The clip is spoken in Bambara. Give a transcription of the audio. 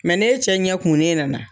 n'e cɛ ɲɛ kumunen nana.